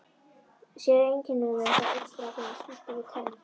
Sá er einkennilegur, sagði einn strákurinn og spýtti við tönn.